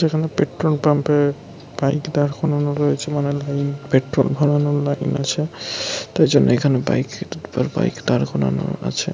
এখানে petrol pump এ bike দাঁড় করানো রয়েছে। মানে লাইন । পেট্রোল ভরানোর লাইন আছে। তার জন্য এখানে বাইক তার পর বাইক দাঁড় করানো আছে।